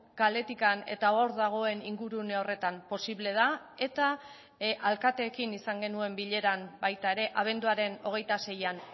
kaletik eta hor dagoen ingurune horretan posible da eta alkateekin izan genuen bileran baita ere abenduaren hogeita seian